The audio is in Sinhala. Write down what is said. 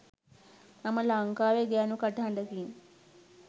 මම ලංකාවේ ගෑනු කටහඬකින්